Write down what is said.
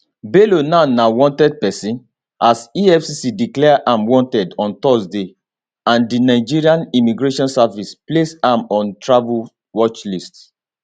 bello now na wanted person as efcc declare am wanted on thursday and di nigeria immigration service place am on travel watchlist